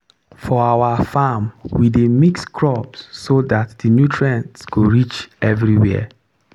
for our farm we dey mix crops so that the nutrients go reach everywhere.